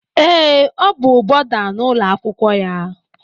Ee Ọ bú bọda n'ụlọ akwụkwọ ya.